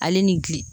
Ale ni gili